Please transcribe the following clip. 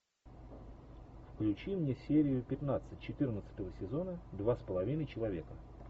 включи мне серию пятнадцать четырнадцатого сезона два с половиной человека